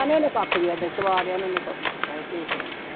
ਨੀ ਉਹਨੇ ਕੱਖ ਵੀ ਇਹਨੇ ਸਵਾਰਿਆ ਨੀ ਉਹਨੇ ਕੱਖ ਵੀ ਐਵੇਂ ਝੂਠ ਨੀ